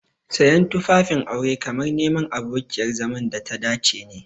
Siyan tufafin aure kamar neman abokiyar zaman data dace ne.